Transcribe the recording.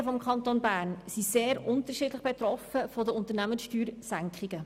Die Gemeinden im Kanton Bern sind sehr unterschiedlich von der Unternehmenssteuersenkung betroffen.